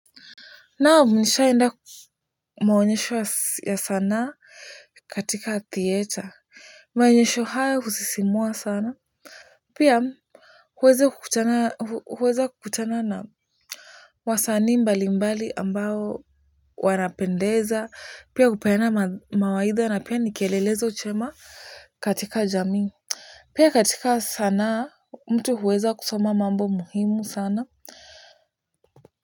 Naam nishai enda maonyesho ya sanaa katika theater. Maonyesho hayo husisimua sana. Pia huweza kukutana na wasanii mbalimbali ambao wanapendeza pia hupeana mawaidha na pia ni kielelezo chema katika jamii. Pia katika sanaa, mtu huweza kusoma mambo muhimu sana.